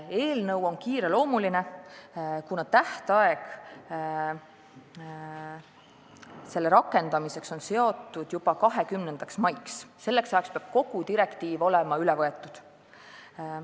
Eelnõu on kiireloomuline, kuna 20. maiks peab kogu direktiiv olema üle võetud.